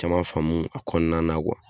Caman faamu a kɔnɔna na kuwa